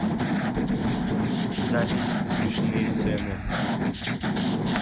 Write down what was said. запись смешные цены